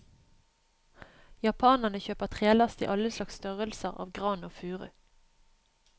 Japanerne kjøper trelast i alle slags størrelser av gran og furu.